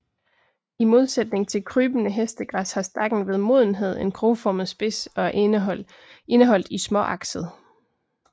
I modsætning til krybende hestegræs har stakken ved modenhed en krogformet spids og er indeholdt i småakset